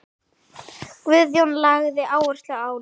Guðjón lagði áherslu á ljóðin.